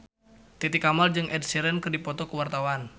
Titi Kamal jeung Ed Sheeran keur dipoto ku wartawan